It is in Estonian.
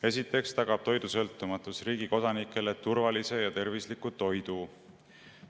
Esiteks tagab toidusõltumatus riigi kodanikele turvalise ja tervisliku toidu.